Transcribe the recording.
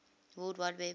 world wide web